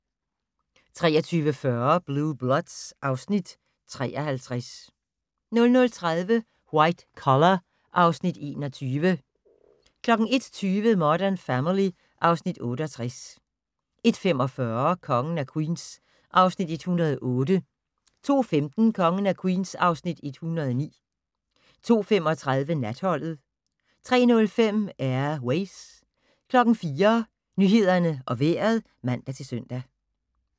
23:40: Blue Bloods (Afs. 53) 00:30: White Collar (Afs. 21) 01:20: Modern Family (Afs. 68) 01:45: Kongen af Queens (Afs. 108) 02:15: Kongen af Queens (Afs. 109) 02:35: Natholdet 03:05: Air Ways 04:00: Nyhederne og Vejret (man-søn)